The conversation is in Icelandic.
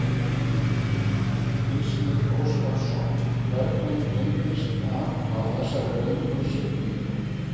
Gísli Óskarsson: Hvernig reyndist það á þessari löngu siglingu?